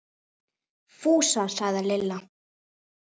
Fúsa! sagði Lilla.